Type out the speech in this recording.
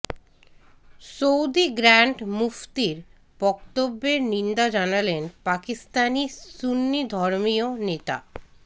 Saudi grand মুফতির বক্তব্যের নিন্দা জানালেন পাকিস্তানি সুন্নি ধর্মীয় নেতা